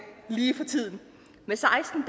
lige for tiden med seksten